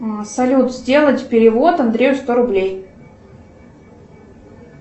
салют сделать перевод андрею сто рублей